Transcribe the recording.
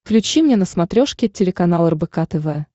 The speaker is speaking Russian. включи мне на смотрешке телеканал рбк тв